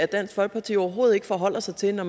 dansk folkeparti overhovedet ikke forholder sig til når